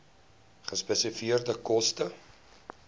gespesifiseerde koste